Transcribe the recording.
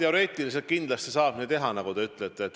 Jah, teoreetiliselt kindlasti saab nii teha, nagu te ütlete.